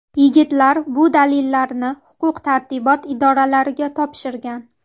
Yigitlar bu dalillarni huquq-tartibot idoralariga topshirgan.